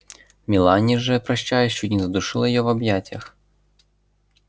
мелани же прощаясь чуть не задушила её в объятиях